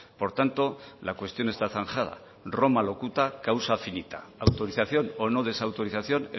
por tanto la cuestión está zanjada roma locuta causa finita autorización o no desautorización